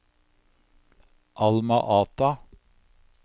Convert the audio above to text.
Alma Ata